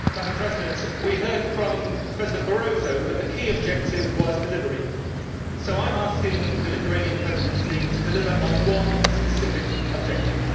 Mr President, we heard from President Barroso that the key objective was delivery, so I am asking the Lithuanian Presidency to deliver on one specific objective.